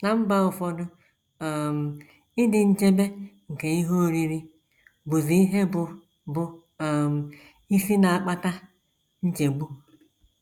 Ná mba ụfọdụ, um ịdị nchebe nke ihe oriri bụzi ihe bụ́ bụ́ um isi na - akpata nchegbu.